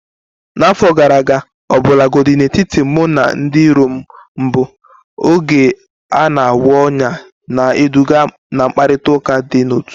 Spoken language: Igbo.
N'afọ gara aga, ọbụlagodi n'etiti mụ na ndị iro m mbụ, oge na-agwọ ọnyá, na-eduga ná mkparịta ụka dị n'otu.